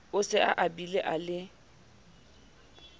o se abile a le